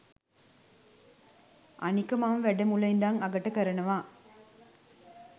අනික මම වැඩ මුල ඉඳන් අගට කරනවා